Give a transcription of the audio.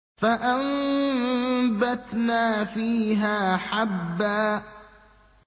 فَأَنبَتْنَا فِيهَا حَبًّا